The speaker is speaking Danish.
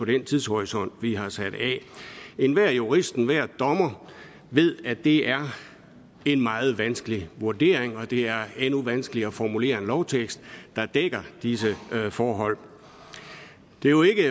den tidshorisont vi har sat af enhver jurist enhver dommer ved at det er en meget vanskelig vurdering og at det er endnu vanskeligere at formulere en lovtekst der dækker disse forhold det er jo ikke